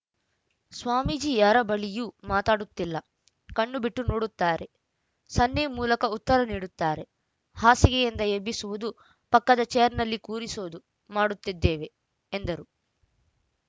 ಸ್ವಾಮೀಜಿ ಯಾರ ಬಳಿಯೂ ಮಾತಾಡುತ್ತಿಲ್ಲ ಕಣ್ಣು ಬಿಟ್ಟು ನೋಡುತ್ತಾರೆ ಸನ್ನೆ ಮೂಲಕ ಉತ್ತರ ನೀಡುತ್ತಾರೆ ಹಾಸಿಗೆಯಿಂದ ಎಬ್ಬಿಸುವುದು ಪಕ್ಕದ ಚೇರ್‌ನಲ್ಲಿ ಕೂರಿಸೋದು ಮಾಡುತ್ತಿದ್ದೇವೆ ಎಂದರು